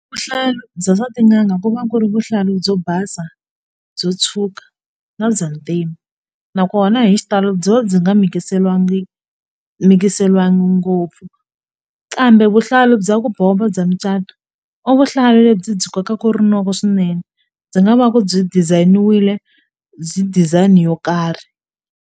Vuhlalu bya swa tin'anga ku va ku ri vuhlalu byo basa byo tshwuka na bya ntima nakona hi xitalo byi va byi nga mikiseriwangi mikiseriwanga ngopfu kambe vuhlalu bya ku bomba bya mucato i vuhlalu lebyi byi kokaka rinoko swinene byi nga va ku byi design-wile design yo karhi.